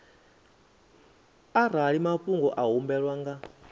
arali mafhungo a humbelwaho nga